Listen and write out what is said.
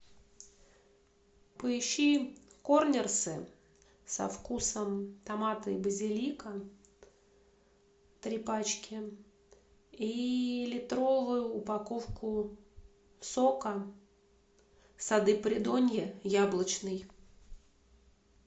поищи корнерсы со вкусом томата и базилика три пачки и литровую упаковку сока сады придонья яблочный